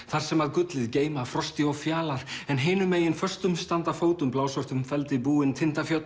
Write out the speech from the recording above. þar sem að gullið geyma Frosti og Fjalar en hinum megin föstum standa fótum feldi búin